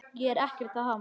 Ég er ekkert að hamast.